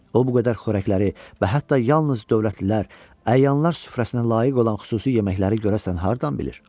O bu qədər xörəkləri və hətta yalnız dövlətlilər, əyanlar süfrəsinə layiq olan xüsusi yeməkləri görəsən hardan bilir?